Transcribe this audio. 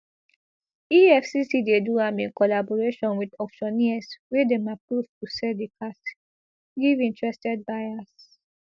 efcc dey do am in collaboration wit auctioneers wey dem approve to sell di cars give interested buyers